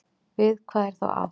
Við hvað er þá átt?